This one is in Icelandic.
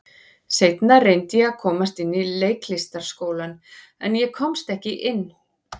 Seinna reyndi ég að komast inn í Leiklistarskólann, en ég komst ekki inn.